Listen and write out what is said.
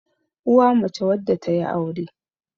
uwa mace wadda ta yi aure